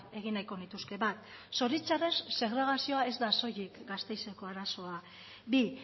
egin nahiko nituzke bat zoritxarrez segregazioa ez da soilik gasteizeko arazoa bi